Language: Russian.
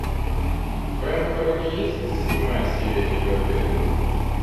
в твоем каталоге есть седьмая серия ривердэйл